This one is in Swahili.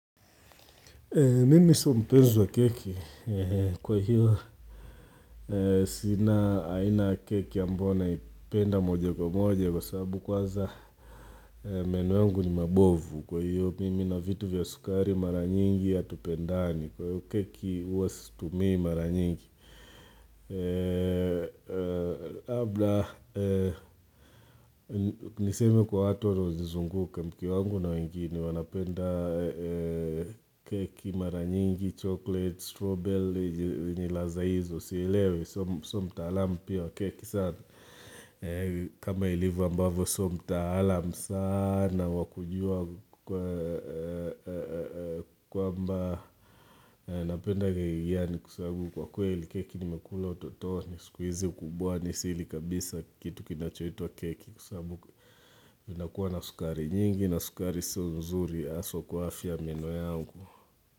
Mimi sio mpenzi wa keki. Kwa hiyo, sina aina ya keki ambayo naipenda moja kwa moja kwa sabu kwaza meno yangu ni mabovu. Kwa hiyo, mimi na vitu vya sukari mara nyingi hatupendani. Kwa hiyo keki uwa situmii mara nyingi. Labla nisemr kwa watu wanaozizunguka mke wangu na wengine wanapenda keki mara nyingi chocolate, strobel, ni laza hizo sielewi so mtaalam pia wa keki sana. Kama ilivo ambavo so mtaalam sana wa kujua kwamba Napenda keki gani kwa sabu kwa kweli keki nimekula utototoni siku izi ukubwani sili kabisa kitu kinachoitwa keki kwa sabu inakuwa na sukari nyingi na sukari sio nzuri haswa kwa afya ya meno yangu.